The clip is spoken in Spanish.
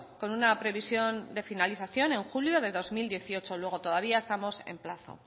con una previsión de finalización en julio de dos mil dieciocho luego todavía estamos en plazo